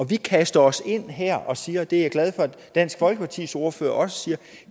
vi kaster os ind det her og siger og det er jeg glad for at dansk folkepartis ordfører også siger